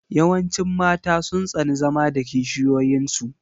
Yawancin mata sun tsani zama da kishiyoyin su.